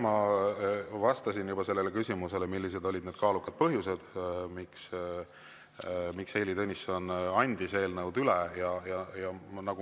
Ma vastasin juba sellele küsimusele, millised olid need kaalukad põhjused, miks Heili Tõnisson andis eelnõud üle.